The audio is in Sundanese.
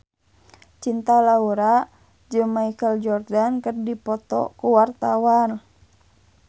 Cinta Laura jeung Michael Jordan keur dipoto ku wartawan